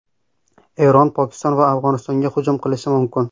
Eron Pokiston va Afg‘onistonga hujum qilishi mumkin.